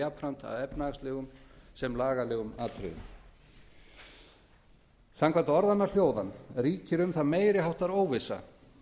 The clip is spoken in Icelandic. jafnt að efnahagslegum sem lagalegum atriðum samkvæmt orðanna hljóðan ríkir um það meiri háttar óvissa